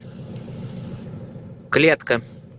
клетка